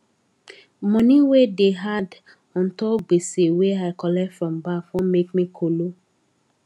money wey da add untop gbese wey i colet from bank wan make me kolo